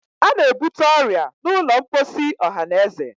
a na-ebute ọrịa n'ụlọ mposi ọhanaeze.